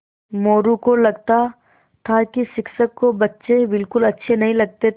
मोरू को लगता था कि शिक्षक को बच्चे बिलकुल अच्छे नहीं लगते थे